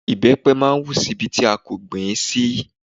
ìbẹ́pẹ máa ń hù si Ibi tí a kò gbìn ín sí